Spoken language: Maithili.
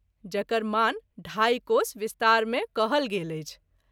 जकर मान ढाई कोश विस्तार मे कहल गेल अछि।